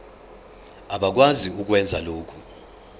abakwazi ukwenza lokhu